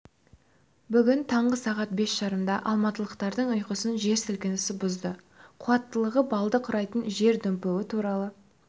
бүгін таңғы сағат бес жарымда алматылықтардың ұйқысын жер сілкінісі бұзды қуаттылығы балды құрайтын жер дүмпуі туралы